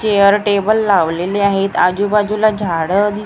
chair table लावलेले आहेत आजूबाजूला झाडं दिस छोटे छोटे--